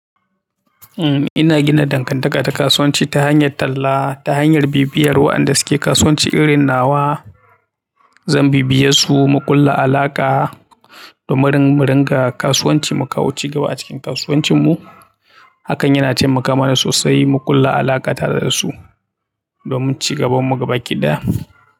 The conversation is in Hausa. Eh ina gina dankantaka ta kasuwanci ta hanyar talla ta hanyar bibiyar waɗanda suke kasuwanci irin nawa. Zan bibiye su muƙulla alaƙa domin mu ringa kasuwanci mu kawo ci gaba a cikin kasuwancinmu. Hakan yana taimaka mana sosai muƙulla alaƙa tare da su domin ci gaban mu gaba ƙida.